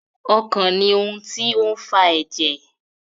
Ọkàn ní ohùn tí o fà èjè.